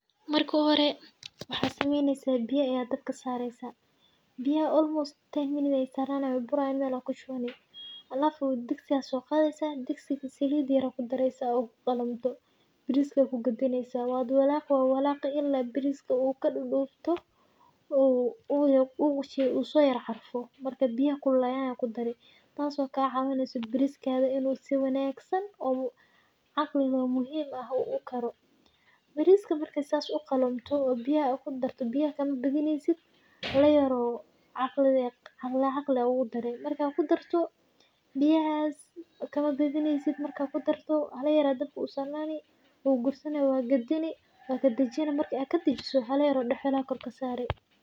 Maerka u hore waxaa sameynesaah biyaa ayaa dabka sareysaah biyaha [almost ay sarnanayin way burayin alafu digsi aa soqadeysaah digsigi salid yar aa kudareysaah bariska ad kugadineysaah , wad walaqi wad walaqi ila bariska uu kadudubto uu uso yar carfo marka biyaha kululadan aa kudarti tas oo kaciweyneyso bariskada si wabagsan oo caqli leh oo muhim eh uu ukaro . Briska marku sas ukaro biyaha uu kudarto biyaha makabadineysid , hala yar oo caqli ah aa ugudari , marka kudarto biyahas makabadineysid marka kudarto hala yar aa dabka usarnani ugursani wagadini wakadajini , marka kadajiso , hala yar oo duxula eh aa kor kasari.